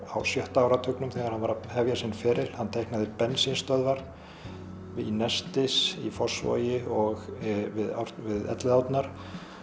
á sjötta áratugnum þegar hann var að hefja sinn feril hann teiknaði bensínstöðvar nestis í Fossvogi og við Elliðaárnar